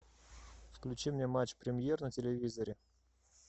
включи мне матч премьер на телевизоре